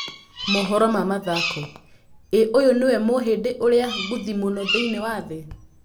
(Mohoro na mathako) ĩ ũyũ nĩwe mũhĩndi ũrĩa ngũthi mũno thĩiniĩ wa thĩ?